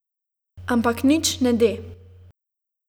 Ampak nič ne de.